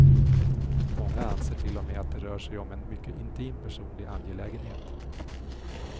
Många anser till och med att det rör sig om en mycket intim personlig angelägenhet.